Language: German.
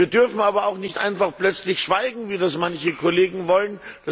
Wir dürfen aber auch nicht einfach plötzlich schweigen, wie das manche Kollegen wollen.